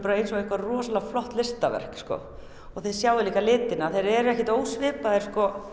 eins og eitthvað rosalega flott listaverk og þið sjáið líka litina þeir eru ekkert ósvipaðir